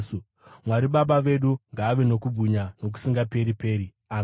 Mwari naBaba vedu ngaave nokubwinya nokusingaperi-peri. Ameni.